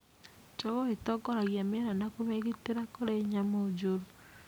Njogoo ĩtongoragia mĩera na kũmĩgitĩra kũrĩ nyamũ njũru